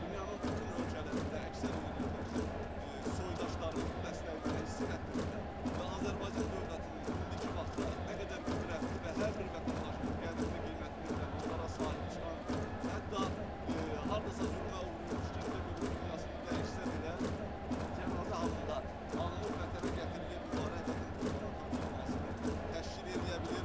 Dünyanın bütün ölkələrində, əksər yerlərdə bizim soydaşlarımız bu dəstəyi mənə hiss elətdirirlər və Azərbaycan dövlətinin indiki vaxtda nə qədər qüdrətli və hər bir vətəndaşının qədrini, qiymətini bilən, onlara sahib çıxan, hətta hardasa zülmə uğrayıb işgəncə görüb dünyasını dəyişsə belə, cənazə halında alınıb Vətənə gətirilib, mübarək Vətən torpağına tapşırılmasını təşkil eləyə bilir.